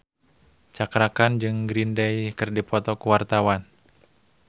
Cakra Khan jeung Green Day keur dipoto ku wartawan